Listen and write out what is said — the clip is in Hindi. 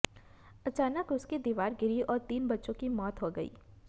अचानक उसकी दीवार गिरी और तीन बच्चों की मौत हो गयी